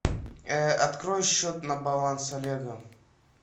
открой счет на баланс олега